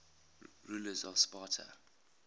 rulers of sparta